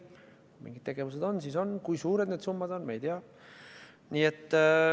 Kui mingid tegevused on, siis on, kui suured need summad on, me ei tea.